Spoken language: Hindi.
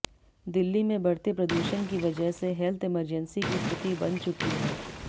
दिल्ली में बढ़ते प्रदूषण की वजह से हेल्थ इमरजेंसी की स्थिति बन चुकी है